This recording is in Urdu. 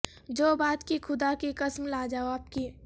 جو بات کی خدا کی قسم لا جواب کی